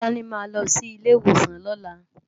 Tolani má lò si ilé iwósán lòlá